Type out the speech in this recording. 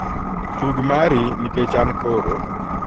tug mari nikech an koro